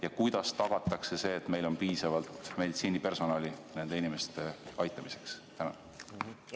Ja kuidas tagatakse see, et meil on piisavalt meditsiinipersonali nende inimeste aitamiseks?